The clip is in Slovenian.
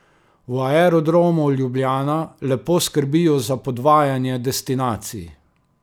V Aerodromu Ljubljana lepo skrbijo za podvajanje destinacij.